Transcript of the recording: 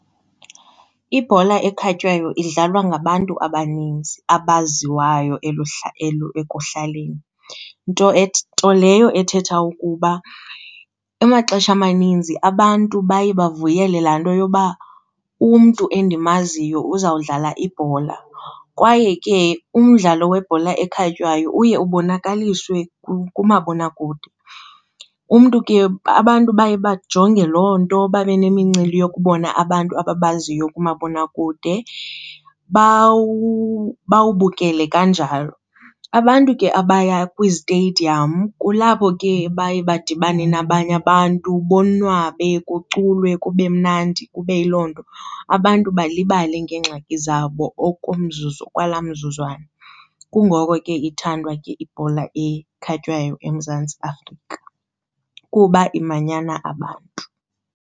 Ibhola ekhatywayo idlalwa ngabantu abaninzi abaziwayo ekuhlaleni. Nto leyo ethetha ukuba amaxesha amaninzi abantu baye bavuyele laa nto yoba umntu endimaziyo uzawudlala ibhola kwaye ke umdlalo webhola ekhatywayo uye ubonakaliswe kumabonakude. Umntu ke, abantu baye bajonge loo nto babe nemincili yokubona abantu ababaziyo kumabonakude, bawubukele kanjalo. Abantu ke abaya kwizitediyam kulapho ke baye badibane nabanye abantu bonwabe kuculwe, kube mnandi kube yiloo nto, abantu balibale ngeengxaki zabo okwalaa mzuzwana. Kungoko ke ithandwa ke ibhola ekhatywayo eMzantsi Afrika kuba imanyana abantu.